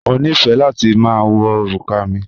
Mo nífẹ́ láti ma wọ orúkà mi